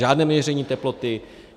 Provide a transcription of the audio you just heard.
Žádné měření teploty.